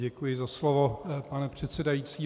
Děkuji za slovo, pane předsedající.